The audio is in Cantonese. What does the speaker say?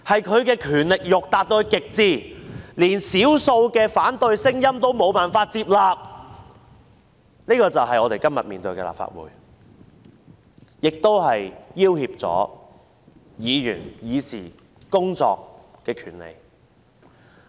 他的權力慾達到極至，即使少數反對聲音也無法接納，這就是我們今天面對的立法會，亦威脅議員進行議事工作的權利。